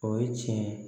O ye tiɲɛ ye